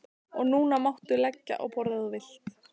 Og núna máttu leggja á borð ef þú vilt.